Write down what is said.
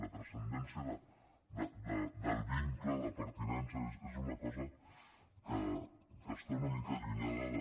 la transcendència del vincle de pertinença és una cosa que està una mica allunyada de